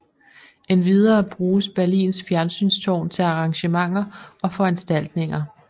Endvidere bruges Berlins Fjernsynstårn til arrangementer og foranstaltninger